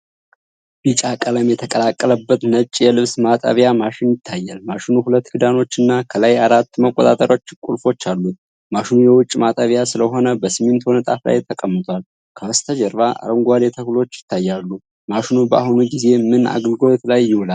ቢጫ ቀለም የተቀላቀለበት ነጭ የልብስ ማጠቢያ ማሽን ይታያል። ማሽኑ ሁለት ክዳኖችና ከላይ አራት መቆጣጠሪያ ቁልፎች አሉት። ማሽኑ የውጪ ማጠቢያ ስለሆነ በሲሚንቶ ንጣፍ ላይ ተቀምጧል። ከበስተጀርባ አረንጓዴ ተክሎች ይታያሉ። ማሽኑ በአሁኑ ጊዜ ምን አገልግሎት ላይ ይውላል?